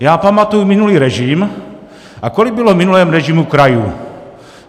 Já pamatuji minulý režim, a kolik bylo v minulém režimu krajů?